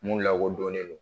Mun lako donnen lo